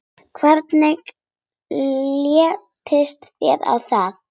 Hvernig litist þér á það?